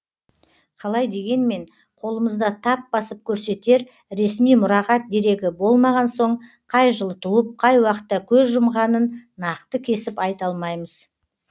қалай дегенмен қолымызда тап басып көрсетер ресми мұрағат дерегі болмаған соң қай жылы туып қай уақытта көз жұмғанын нақты кесіп айта алмаймыз